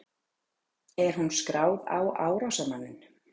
Er hún skráð á árásarmanninn?